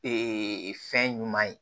fɛn ɲuman ye